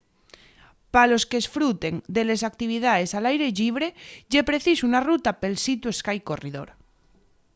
pa los qu'esfruten de les actividaes al aire llibre ye preciso una ruta pel sea to sky corridor